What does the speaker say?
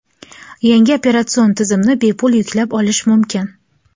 Yangi operatsion tizimni bepul yuklab olish mumkin.